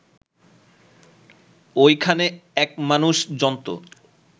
ওইখানে এক মানুষ-জন্তু